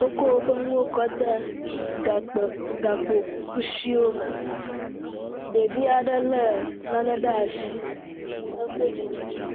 wokɔ fe nuwo kɔde gakpe gakpokusiwo me ɖevi aɖe le nane ɖe asi ekpɔ dzidzɔ